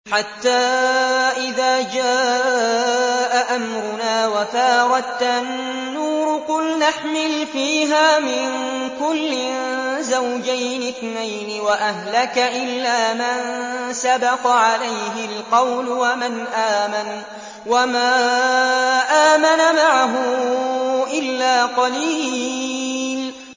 حَتَّىٰ إِذَا جَاءَ أَمْرُنَا وَفَارَ التَّنُّورُ قُلْنَا احْمِلْ فِيهَا مِن كُلٍّ زَوْجَيْنِ اثْنَيْنِ وَأَهْلَكَ إِلَّا مَن سَبَقَ عَلَيْهِ الْقَوْلُ وَمَنْ آمَنَ ۚ وَمَا آمَنَ مَعَهُ إِلَّا قَلِيلٌ